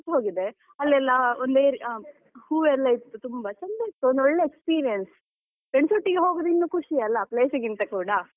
ಮರ್ತ್ ಹೋಗಿದೆ ಅಲ್ಲೆಲ್ಲಾ ಒಂದೇ ರೀತಿ ಅಹ್ ಹೂ ಎಲ್ಲ ಇತ್ತು ತುಂಬಾ ಚಂದ ಇತ್ತು ಒಂದ್ ಒಳ್ಳೆ experience friends ಒಟ್ಟಿಗೆ ಹೋಗುದಿನ್ನು ಇನ್ನು ಖುಷಿ ಅಲ್ಲ place ಗಿಂತ ಕೂಡ.